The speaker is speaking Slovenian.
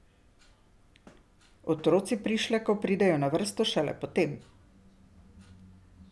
Otroci prišlekov pridejo na vrsto šele potem.